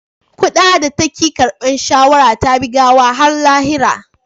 Kuda da ta ki karbar shawara ta bi gawar har lahira